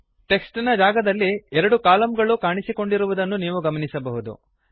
text ನ ಜಾಗದಲ್ಲಿ ಎರಡು ಕಲಮ್ ಗಳು ಕಾಣಿಸಿಕೊಂಡಿರುವುದನ್ನು ನೀವು ಗಮನಿಸಬಹುದು